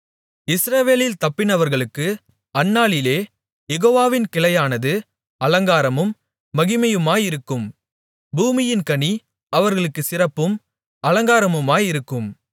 இஸ்ரவேலில் தப்பினவர்களுக்கு அந்நாளிலே யெகோவாவின் கிளையானது அலங்காரமும் மகிமையுமாயிருக்கும் பூமியின் கனி அவர்களுக்குச் சிறப்பும் அலங்காரமுமாயிருக்கும்